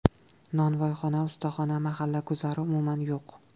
Nonvoyxona, ustaxona, mahalla guzari umuman yo‘q.